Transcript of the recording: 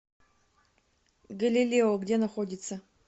галилео где находится